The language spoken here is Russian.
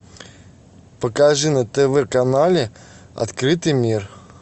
покажи на тв канале открытый мир